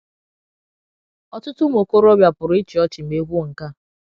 Ọtụtụ ụmụ okorobịa pụrụ ịchị ọchị ma e kwuo nke a.